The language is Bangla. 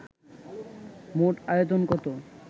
মোট আয়তন কত